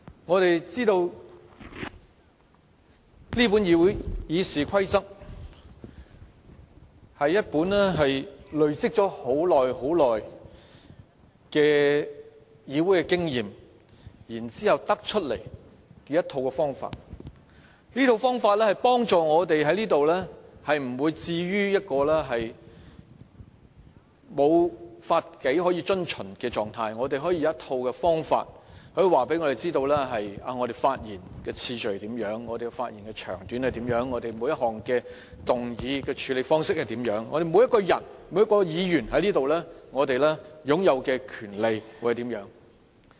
我們知道這本《議事規則》是在累積多年議會經驗後制訂的，它可以協助我們在此不會被置於一個沒有法紀可以遵循的狀態，我們有一套方法告訴我們，我們發言的次序、長短，以及每一項議案的處理方式該如何，我們每一個人和每位議員在此擁有的權利是甚麼。